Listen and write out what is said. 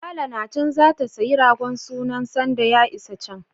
Lala na can zata sayi ragon sunan sanda ya isa can.